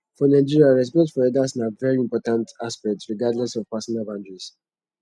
for nigeria respect for elders na very important aspect regardless of personal boundaries